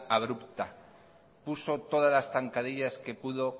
abrupta puso todas las zancadillas que pudo